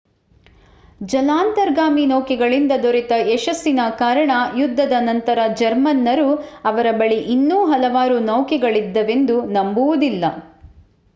ಜಲಾಂತರ್ಗಾಮಿ ನೌಕೆಗಳಿಂದ ದೊರೆತ ಯಶಸ್ಸಿನ ಕಾರಣ ಯುದ್ಧದ ನಂತರ ಜರ್ಮನ್ನರು ಅವರ ಬಳಿ ಇನ್ನೂ ಹಲವಾರು ನೌಕೆಗಳಿದ್ದವೆಂದು ನಂಬುವುದಿಲ್ಲ